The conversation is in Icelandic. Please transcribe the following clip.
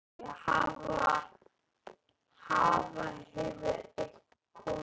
Hafa, hefur eitthvað komið upp á?